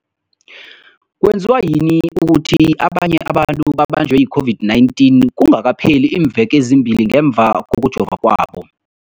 kwenziwa yini ukuthi abanye abantu babanjwe yi-COVID-19 kungakapheli iimveke ezimbili ngemva kokujova kwabo?